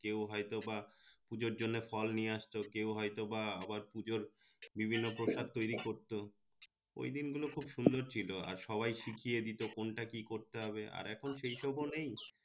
কেও হয়তো বা পূজোর জন্য ফল নিয়ে আসত কেও হয়ত বা আবার পূজোর বিভিন্ন প্রশাধ তৈরি করতো ওই দিন গুলো খুব সুন্দর ছিলো আর সবাই শিখিয়ে দিতো কোনটা কি করতে হবে আর এখন সেই সকল ও নেই